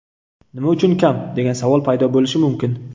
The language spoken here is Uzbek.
Nima uchun kam, degan savol paydo bo‘lishi mumkin.